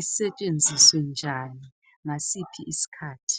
isetshenziswe njani ngasiphi isikhathi.